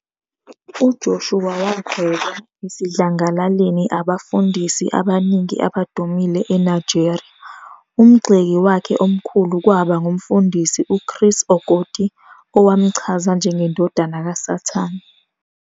UJoshua wagxekwa esidlangalaleni abefundisi abaningi abadumile eNigeria, umgxeki wakhe omkhulu kwaba nguMfundisi uChris Okotie owamchaza 'njengendodana kasathane'.